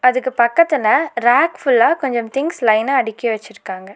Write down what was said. அதுக்கு பக்கத்துல ரேக் ஃபுல்லா கொஞ்சம் திங்ஸ் லைனா அடுக்கி வச்சிருக்காங்க.